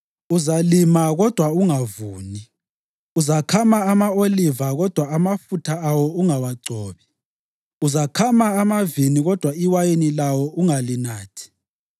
Uzalima kodwa ungavuni; uzakhama ama-oliva kodwa amafutha awo ungawagcobi, uzakhama amavini kodwa iwayini lawo ungalinathi.